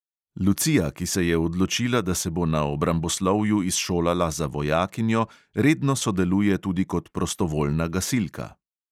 Lucija, ki se je odločila, da se bo na obramboslovju izšolala za vojakinjo, redno sodeluje tudi kot prostovoljna gasilka.